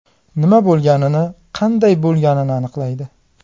Nima bo‘lganini, qanday bo‘lganini aniqlaydi.